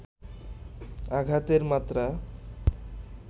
আঘাতের মাত্রা